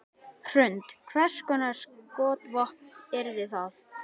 Hrund: Hvers konar skotvopn yrðu það?